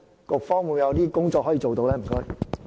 局方有甚麼工作可以做到？